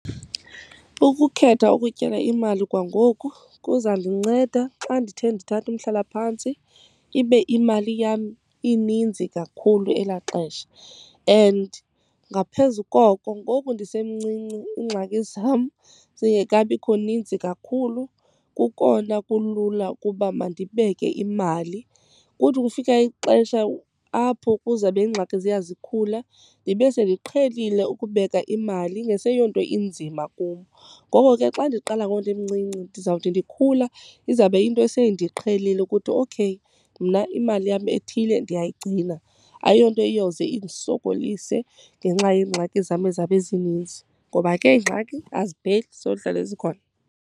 Ukukhetha ukutyala imali kwangoku kuzandinceda xa ndithe ndithatha umhlalaphantsi ibe imali yam ininzi kakhulu elaa xesha. And ngaphezu koko, ngoku ndisemncinci iingxaki zam zingekabikho ninzi kakhulu kukona kulula ukuba mandibeke imali. Kuthi kufika ixesha apho kuzabe ingxaki ziya zikhula ndibe sendiqhelile ukubeka imali, ingaseyonto inzima kum. Ngoko ke xa ndiqala ngoku ndimncinci ndizawuthi ndikhula izawube iyinto eseyindiqhelile ukuthi okay mna imali yam ethile ndiyayigcina. Ayiyonto iyowuze indisokolise ngenxa yeengxaki zam ezawube zininzi, ngoba ke iingxaki azipheli zohlala zikhona.